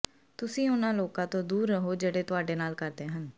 ਤੁਸੀਂ ਉਨ੍ਹਾਂ ਲੋਕਾਂ ਤੋਂ ਦੂਰ ਰਹੋ ਜਿਹੜੇ ਤੁਹਾਡੇ ਨਾਲ ਕਰਦੇ ਹਨ